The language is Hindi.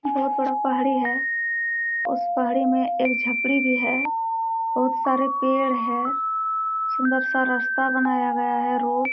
बहुत बड़ा पहाड़ी है उस पहाड़ी मे एक झपड़ी भी है बहुत सारे पेड़ है सुन्दर सा रास्ता बनाया गया है रोप --